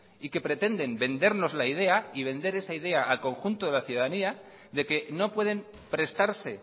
y que pretenden vendernos la idea y vender esa idea a conjunto de la ciudadanía de que no pueden prestarse